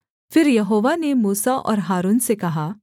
फिर यहोवा ने मूसा और हारून से कहा